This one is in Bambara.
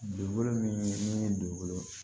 Dugukolo min ni dugukolo